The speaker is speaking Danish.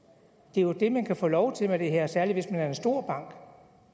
det er jo det man kan få lov til med det her særlig hvis man er en stor